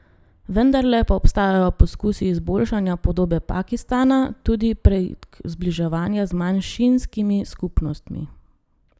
Vendarle pa obstajajo poskusi izboljšanja podobe Pakistana, tudi prek zbliževanja z manjšinskimi skupnostmi.